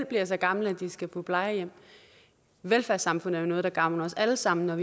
bliver så gamle at de skal på plejehjem velfærdssamfundet er jo noget der gavner os alle sammen og